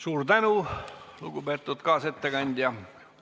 Suur tänu, lugupeetud kaasettekandja!